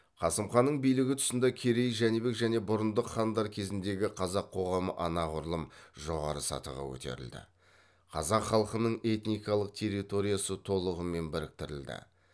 қасым ханның билігі тұсында керей жәнібек және бұрындық хандар кезіндегі қазақ қоғамы анағұрлым жоғары сатыға көтерілді қазақ халқының этникалық территориясы толығымен біріктірілді